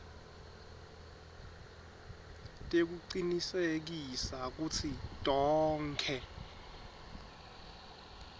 tekucinisekisa kutsi tonkhe